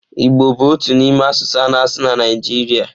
Igbo bụ otu n'ime asụsụ a na-asụ na Naịjirịa.